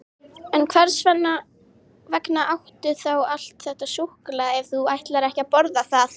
En hvers vegna áttu þá allt þetta súkkulaði ef þú ætlar ekki að borða það?